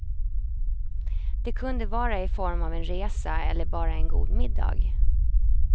Det kunde vara i form av en resa eller bara en god middag.